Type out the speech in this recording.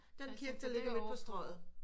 Den kirke den ligger ovre på Strøget